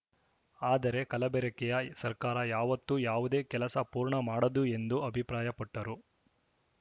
ಆದರೆ ಕಲಬೆರಕೆಯ ಸರ್ಕಾರ ಯಾವತ್ತೂ ಯಾವುದೇ ಕೆಲಸ ಪೂರ್ಣ ಮಾಡದು ಎಂದು ಅಭಿಪ್ರಾಯಪಟ್ಟರು